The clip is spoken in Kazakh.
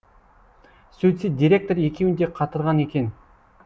сөйтсе директор екеуін де қатырған екен